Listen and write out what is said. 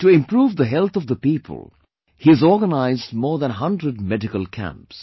To improve the health of the people, he has organized more than 100 medical camps